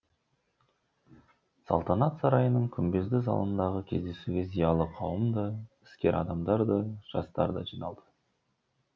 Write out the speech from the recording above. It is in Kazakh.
салтанат сарайының күмбезді залындағы кездесуге зиялы қауым да іскер адамдар да жастар да жиналды